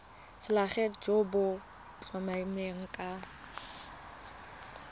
selegae jo bo tlamelang ka